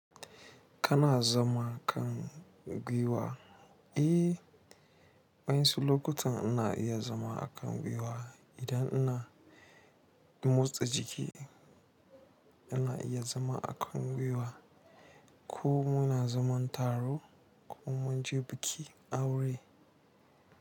Kana zama kan gwiwa? Eh wainsu lokutan ina zama kan gwiwa idan ina motsa jiki ina iya zama a kan gwiwa ko muna zaman taro ko munje bikin aure.